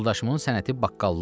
Yoldaşımın sənəti baqqallıqdır.